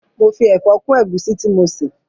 Mo fi ẹ̀fọ́ kún ẹ̀gúsí tí mo ṣè